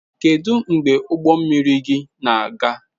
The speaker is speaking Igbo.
Kedu mgbe ụgbọ mmiri gị na-aga?